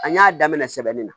An y'a daminɛ sɛbɛnni na